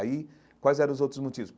Aí, quais eram os outros motivos?